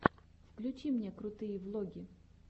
включи мне крутые влоги